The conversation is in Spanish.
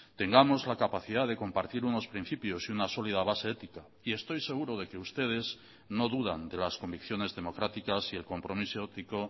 tengamos la capacidad de compartir unos principios y una sólida base ética y estoy seguro de que ustedes no dudan de las convicciones democráticas y el compromiso ético